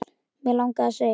Mig langaði að segja